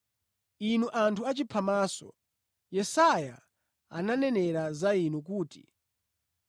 Inu anthu achiphamaso, Yesaya ananenera za inu kuti,